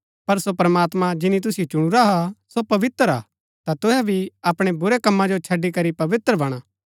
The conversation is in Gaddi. पर सो प्रमात्मां जिनी तुसिओ चुणुरा हा सो पवित्र हा ता तुहै भी अपणै बुरै कमा जो छड़ी करी पवित्र बणा